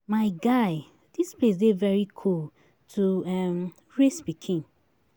My guy, dis place dey very cool to um raise pikin